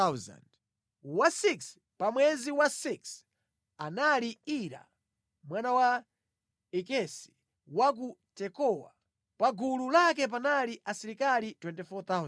Wa 6 pa mwezi wa 6 anali Ira mwana wa Ikesi wa ku Tekowa. Pa gulu lake panali asilikali 24,000.